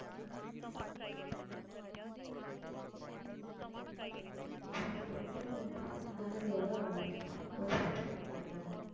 அதுக்கு அப்புறம் வந்துட்டு salary யோட உன் salary வாங்கற இல்ல